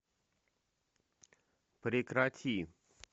прекрати